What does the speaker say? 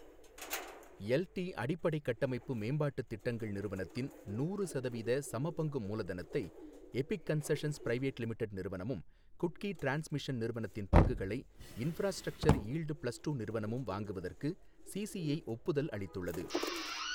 L T அடிப்படைக் கட்டமைப்பு மேம்பாட்டுத் திட்டங்கள் நிறுவனத்தின் நூறு சதவீத சமபங்கு மூலதனத்தை எபிக் கன்ஸஷன்ஸ் பிரைவேட் லிமிடெட் நிறுவனமும், குட்கி டிரான்ஸ்மிஷன் நிறுவனத்தின் பங்குகளை இன்ஃப்ராஸ்ட்ரக்சர் யீல்டு பிளஸ் டூ நிறுவனமும் வாங்குவதற்கு சிசிஐ ஒப்புதல் அளித்துள்ளது